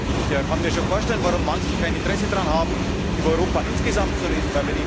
Ich kann mir schon vorstellen, warum manche kein Interesse daran haben, über Europa insgesamt zu reden.